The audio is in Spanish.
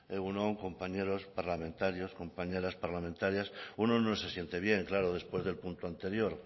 egun on compañeros parlamentarios compañeras parlamentarias uno no se siente bien claro después del punto anterior